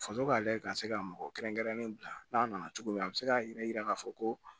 Faso ka lajɛ ka se ka mɔgɔ kɛrɛnkɛrɛnnen bila n'a nana cogo min a bɛ se k'a jira k'a fɔ ko